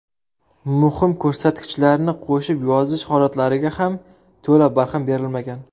Muhim ko‘rsatkichlarni qo‘shib yozish holatlariga ham to‘la barham berilmagan.